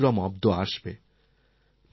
নতুন বিক্রম অব্দ আসবে